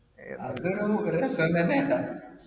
അത് ഒരു രസം തന്നെയാണ്